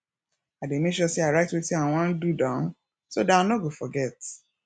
i dey make sure say i write wetin i wan do down so dat i no go forget